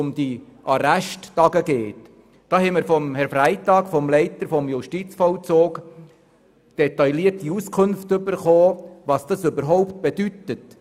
Der Leiter des Amtes für Justizvollzug informierte uns detailliert darüber, was das überhaupt bedeutet.